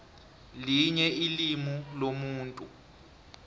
linye ilimu lomuntu